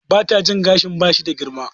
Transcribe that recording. Mata jin gashin ba shi da girma